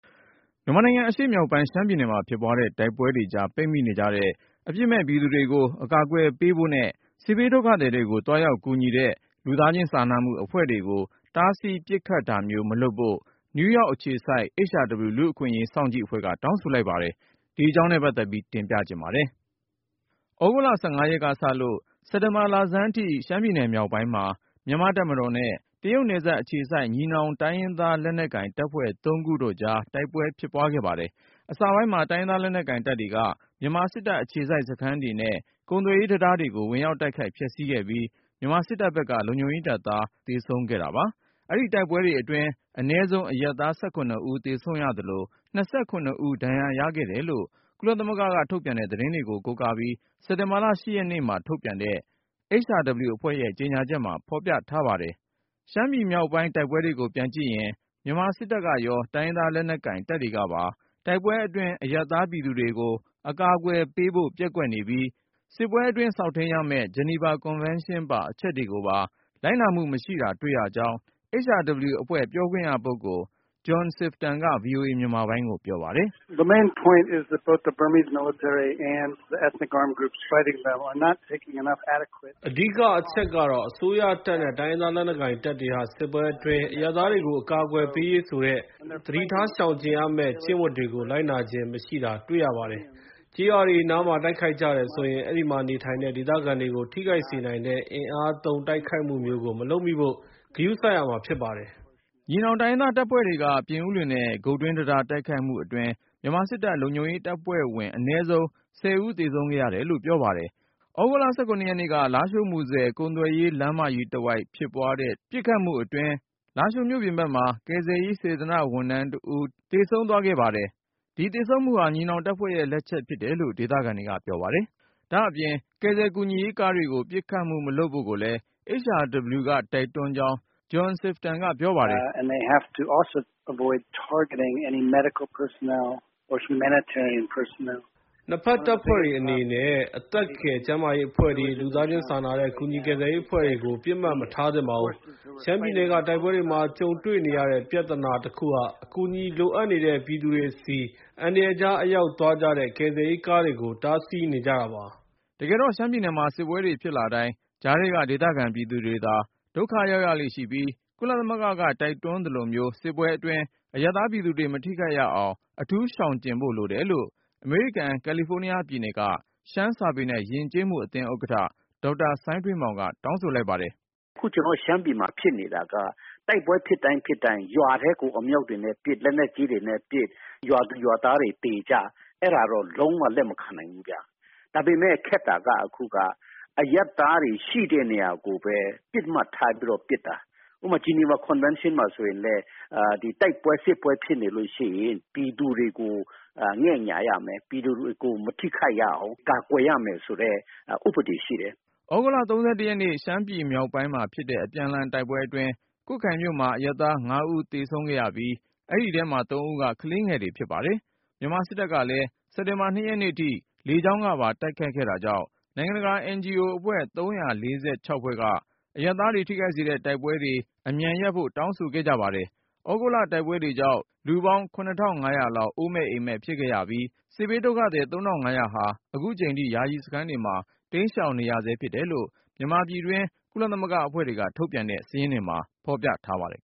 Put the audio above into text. မြန်မာနိုင်ငံ အရှေ့မြောက်ပိုင်း ရှမ်းပြည်နယ်မှာ ဖြစ်ပွားနေတဲ့ တိုက်ပွဲတွေကြား ပိတ်မိနေတဲ့ အပြစ်မဲ့ ပြည်သူတွေကို အကာအကွယ်ပေးဖို့နဲ့ စစ်ဘေးဒုက္ခသည်တွေကို သွားရောက်ကူညီတဲ့ လူသားချင်းစာနာမှု အဖွဲ့တွေကို တားဆီးပစ်ခတ်တာမျိုး မလုပ်ဖို့ နယူးယောက်အခြေစိုက် HRW လူ့အခွင့်အရေး စောင့်ကြည့်အဖွဲ့က တောင်းဆိုလိုက်ပါတယ်။ ဆက်သွယ်မေးမြန်းထားတဲ့ ကိုဉာဏ်ဝင်းအောင်က တင်ပြထားပါတယ်။ သြဂုတ်လ ၁၅ ရက်ကစလို့ စက်တာဘာလဆန်းအထိ ရှမ်းပြည်နယ် မြောက်ပိုင်းမှာ မြန်မာ့တပ်မတော်နဲ့ တရုတ်နယ်စပ်အခြေစိုက် ညီနောင် တိုင်းရင်းသားလက်နက်ကိုင် တပ်ဖွဲ့ ၃ ခု (TNLA/ AA/ MNDAA) တို့ကြား တိုက်ပွဲဖြစ်ပွားခဲ့ပါတယ်။ အစပိုင်းမှာ တိုင်ရင်းသားလက်နက်ကိုင် တပ်တွေက မြန်မာစစ်တပ် အခြေစိုက်စခန်းတွေနဲ့ ကုန်သွယ်ရေးတံတားကို ဝင်ရောက်တိုက်ခိုက် ဖျက်ဆီးခဲ့ပြီး မြန်မာစစ်တပ်ဘက်က လုံခြုံရေးတပ်သား ၁၀ ဦးလောက် သေဆုံးခဲ့တာပါ။ အဲဒီတိုက်ပွဲတွေအတွင်း အနည်းဆုံး အရပ်သား ၁၇ ဦး သေဆုံးရသလို ၂၇ ဦး ဒဏ်ရာရခဲ့တယ်လို့ ကုလသမဂ္ဂက ထုတ်ပြန်တဲ့ သတင်းကို ကိုးကားပြီး စက်တင်ဘာ ၈ ရက်နေ့မှာ ထုတ်ပြန်တဲ့ HRW အဖွဲ့ရဲ့ ကြေညာချက်မှာ ဖော်ပြထားပါတယ်။ ရှမ်းပြည်မြောက်ပိုင်း တိုက်ပွဲတွေကို ပြန်ကြည့်ရင် မြန်မာစစ်တပ်ရော တိုင်းရင်းသားလက်နက်ကိုင် တပ်တွေကပါ စစ်ပွဲအတွင်း အရပ်သား ပြည်သူတွေကို အကာအကွယ်ပေးဖို့ ပျက်ကွက်နေပြီး စစ်ပွဲအတွင်း စောင့်ထိန်းရမယ့် ဂျနီဗာကွန်ဗန်းရှင်းပါ အချက်တွေကိုပါ လိုက်နာမှုမရှိတာ တွေ့ရကြောင်း HRW အဖွဲ့ ပြောခွင့်ရပုဂ္ဂိုလ် John Sifton က VOA မြန်မာပိုင်းကို ပြောပါတယ်။ “အဓိကအချက်ကတော့ အစိုးရတပ်နဲ့ တိုင်းရင်းသားလက်နက်ကိုင် တပ်တွေဟာ စစ်ပွဲအတွင်း အရပ်သားတွေကို အကာအကွယ်ပေးရမယ်ဆိုတဲ့ သတိထား ရှောင်ကြဉ်ရမယ့် ကျင့်ဝတ်တွေကို လိုက်နာခြင်းမရှိတာ တွေ့ရပါတယ်။ ကျေးရွာတွေနားမှာ တိုက်ခိုက်ကြတယ်ဆိုရင် အဲဒီမှာနေထိုင်တဲ့ ဒေသခံတွေကို ထိခိုက်စေနိုင်တဲ့ အင်အားသုံး တိုက်ခိုက်မှုမျိုးကို မလုပ်မိဖို့ ဂရုစိုက်ရမှာ ဖြစ်ပါတယ်။” ညီနောင်တိုင်ရင်းသား တပ်ဖွဲ့တွေက ပြင်ဦးလွင်နဲ့ ဂုတ်တွင်းတံတား တိုက်ခိုက်မှုအတွင်း မြန်မာစစ်တပ် လုံခြုံရေးတပ်ဖွဲ့ဝင် အနည်းဆုံး ၁၀ ဦး သေဆုံးခဲ့ရတယ်လို့လည်း ပြောပါတယ်။ သြဂုတ်လ ၁၇ ရက်နေ့ လားရှိုး-မူဆယ် ကုန်သွယ်ရေး လမ်းမကြီးတဝိုက်ဖြစ်တဲ့ တိုက်ပွဲအတွင်း လားရှိုးမြို့ပြင်ဘက်မှာ ကယ်ဆယ်ရေး စေတနာ့ဝန်ထမ်းတဦး သေဆုံးသွားခဲ့ပါတယ်။ ဒီသေဆုံးမှုဟာ ညီနောင်တပ်ဖွဲ့တွေရဲ့ လက်ချက် ဖြစ်တယ်လို့ ဒေသခံတွေက ပြောပါတယ်။ ဒါ့အပြင် ကယ်ဆယ်ကူညီရေး ကားတွေကို ပစ်ခတ်မှုမလုပ်ဖို့ကိုလည်း HRW က တိုက်တွန်းကြောင်း John Sifton က ပြောပါတယ်။ “နှစ်ဖက်တပ်ဖွဲ့အနေနဲ့ အသက်ကယ် ကျန်းမာရေးအဖွဲ့တွေ၊ လူသားချင်းစာနာတဲ့ ကူညီကယ်ဆယ်ရေးအဖွဲ့တွေကို ပစ်မှတ်မထားသင့်ပါဘူး။ ရှမ်းပြည်နယ်က တိုက်ပွဲတွေမှာ ကြုံတွေ့နေရတဲ့ ပြဿနာကြီးတခုက အကူအညီလိုအပ်နေတဲ့ ပြည်သူတွေဆီ အန္တရာယ်ကြား အရောက်သွားကြတဲ့ ကယ်ဆယ်ရေးကားတွေကို တားဆီးနေကြတာပါ။” တကယ်တော့ ရှမ်းပြည်နယ်မှာ စစ်ပွဲတွေဖြစ်လာတိုင်း ကြားထဲက ဒေသခံပြည်သူတွေသာ ဒုက္ခရောက်ရလေ့ရှိပြီး ကုလသမဂ္ဂက တိုက်တွန်းသလိုမျိုး စစ်ပွဲအတွင်း အရပ်သားပြည်သူတွေ မထိခိုက်ရအောင် အထူးရှောင်ကြဉ်ဖို့ လိုတယ်လို့ အမေရိကန် ကယ်လီဖိုးနီးယားပြည်နယ်က ရှမ်းစာပေနဲ့ ယဉ်ကျေးမှုအသင်း ဥက္ကဋ္ဌ ဒေါက်တာစိုင်းထွေးမောင်က တောင်းဆိုလိုက်ပါတယ်။ “အခု ကျနော်တို့ရှမ်းပြည်မှာ ဖြစ်နေတာက တိုက်ပွဲဖြစ်တိုင်းဖြစ်တိုင်း ရွာထဲကို အမြောက်တွေနဲ့ပစ်၊ လက်နက်ကြီးတွေနဲ့ပစ်၊ ရွာသူရွာသားတွေ သေကြ။ အဲဒါတော့ လုံးဝ လက်မခံနိုင်ဘူးဗျ။ ဒါပေမယ့် ခက်တာက အခုက အရပ်သားတွေရှိတဲ့ နေရာကိုပဲ ပစ်မှတ်ထားပြီးတော့ ပစ်တာ။ ဥပမာ ဂျနီဗာကွန်ဗန်းရှင်းမှာ ဆိုရင်လည်း ဒီတိုက်ပွဲ စစ်ပွဲ ဖြစ်နေလို့ရှိရင် ပြည်သူတွေကို ငဲ့ညှာရမယ်၊ ပြည်သူတွေကို မထိခိုက်ရအောင် ကာကွယ်ရမယ်ဆိုတဲ့ ဥပဒေရှိတယ်။” သြဂုတ်လ ၃၁ ရက်နေ့ ရှမ်းမြောက်ပိုင်းမှာဖြစ်တဲ့ အပြန်အလှန် တိုက်ပွဲအတွင်း ကွတ်ခိုင်မြို့မှာ အရပ်သား ၅ ဦး သေဆုံးခဲ့ရပြီး အဲဒီထဲမှာ ၃ ဦးက ကလေးငယ်တွေ ဖြစ်ပါတယ်။ မြန်မာစစ်တပ်ဘက်ကလည်း စက်တာဘာ ၂ ရက်နေ့ထိ လေကြောင်းကပါ တိုက်ခိုက်ခဲ့တာကြောင့် နိုင်ငံတကာ NGO အဖွဲ့ ၃၄၆ ဖွဲ့က အရပ်သားတွေ ထိခိုက်စေတဲ့ တိုက်ပွဲတွေ အမြန်ရပ်ဖို့လည်း တောင်းဆိုခဲ့ပါတယ်။ သြဂုတ်လ တိုက်ပွဲကြောင့် လူပေါင်း ၇၅၀၀ လောက် အိုးမဲ့အိမ်မဲ့ ဖြစ်ခဲ့ရပြီး စစ်ဘေးဒုက္ခသည် ၃၅၀၀ ဟာ အခုချိန်ထိ ယာယီစခန်းတွေမှာ တိမ်းရှောင်နေရဆဲ ဖြစ်တယ်လို့ မြန်မာပြည်တွင်း ကုလသမဂ္ဂအဖွဲ့တွေက ထုတ်ပြန်တဲ့ စာရင်းတွေမှာ ဖော်ပြထားပါတယ်